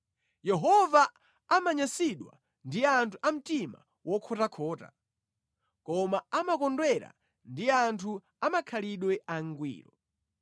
Yehova amanyansidwa ndi anthu a mtima wokhotakhota koma amakondwera ndi anthu a makhalidwe angwiro.